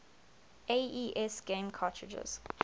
aes game cartridges